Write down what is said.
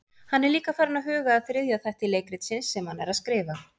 Hann er líka farinn að huga að þriðja þætti leikritsins sem hann er að skrifa.